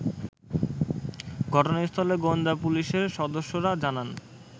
ঘটনাস্থলে গোয়েন্দা পুলিশের সদস্যরা জানান